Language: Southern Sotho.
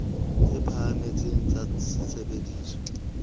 tse phahameng tsa tse sebediswang